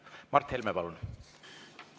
Mart Helme, palun!